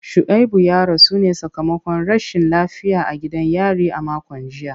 Shuaibu ya rasu ne sakamakon rashin lafiya a gidan yari a makon jiya.